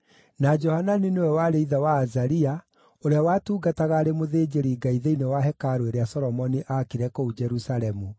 na Johanani nĩwe warĩ ithe wa Azaria (ũrĩa watungataga arĩ mũthĩnjĩri-Ngai thĩinĩ wa hekarũ ĩrĩa Solomoni aakire kũu Jerusalemu),